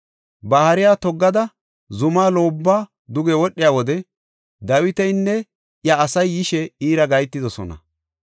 Ba hariya toggada zumaa loobuwa duge wodhiya wode Dawitinne iya asay yishe iira gahetidosona.